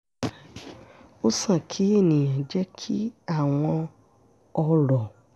ó sàn kí èèyàn jẹ́ kí àwọn ọ̀rọ̀